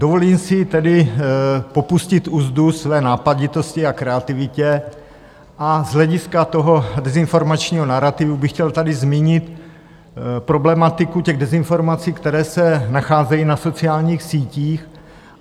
Dovolím si tedy popustit uzdu své nápaditosti a kreativity a z hlediska toho dezinformačního narativu bych chtěl tady zmínit problematiku těch dezinformací, které se nacházejí na sociálních sítích.